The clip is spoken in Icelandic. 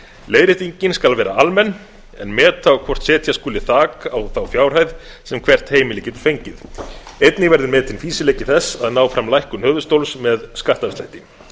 leiðréttingin skal vera almenn en meta á hvort setja skuli þak á þá fjárhæð sem hvert heimili getur fengið einnig verður metinn fýsileiki þess að ná fram lækkun höfuðstóls með skattafslætti